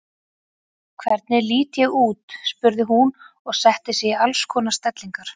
Hvernig lít ég út? spurði hún og setti sig í alls konar stellingar.